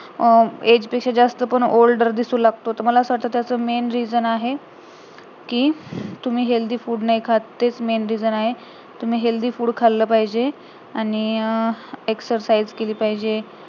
age पेक्षा जास्त older दिसू लागतो तर मला असं वाटतं त्याच main reason आहे कि तुम्ही healthy food नाही खात तेच main reason आहे तुम्ही healthy food खाल्लं पाहिजे आणि अं exercise केली पाहिजे